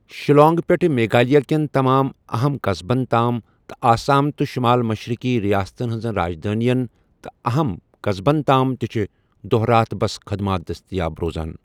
شِلانٛگ پٮ۪ٹھٕ میگھالیہ کٮ۪ن تمام اَہم قصبن تام تہٕ آسام تہٕ شُمال مشرِقی رِیاستن ہِنٛزن راجدانین تہٕ اہم قصبن تانہِ تہِ چھےٚ دۄہ رات بَس خٕدمات دٔستِیاب۔